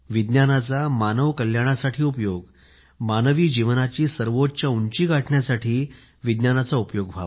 विज्ञानाचा मानव कल्याणासाठी उपयोग मानवी जीवनाची सर्वोच्च उंची गाठण्यासाठी विज्ञानाचा उपयोग